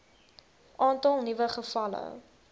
aantal nuwe gevalle